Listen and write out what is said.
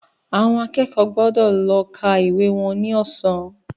Àwọn akẹ́kọ̀ọ́ gbọ́dọ̀ lọ ká ìwé wọn ní ọ̀sán